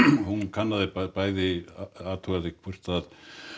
hún kannaði bæði athugaði hvort